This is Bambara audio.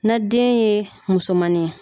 Na den ye musomannin ye.